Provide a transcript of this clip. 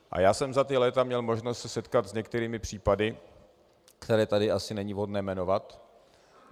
A já jsem za ta léta měl možnost se setkat s některými případy, které tady asi není vhodné jmenovat.